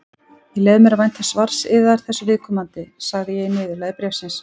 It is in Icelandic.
Ég leyfi mér að vænta svars yðar þessu viðkomandi, sagði ég í niðurlagi bréfsins.